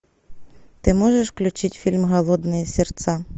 ты можешь включить фильм голодные сердца